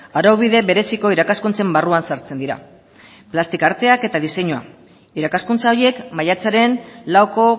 araubide bereziko irakaskuntzen barruan sartzen dira plastika arteak eta diseinua irakaskuntza horiek maiatzaren lauko